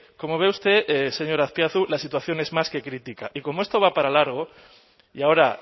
como ve usted señor azpiazu la situación es más que crítica y como esto va para largo y ahora